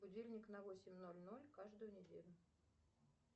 будильник на восемь ноль ноль каждую неделю